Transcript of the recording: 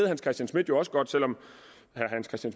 hans christian schmidt jo også godt selv om